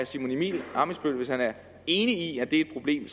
simon emil ammitzbøll er enig i at det er et problem